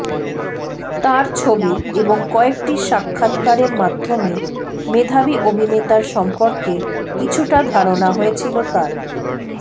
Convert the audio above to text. তাঁর ছবি এবং কয়েকটি সাক্ষাতকারের মাধ্যমে মেধাবী অভিনেতার সম্পর্কে কিছুটা ধারণা হয়েছিল তাঁর